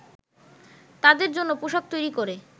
তাদের জন্য পোশাক তৈরি করে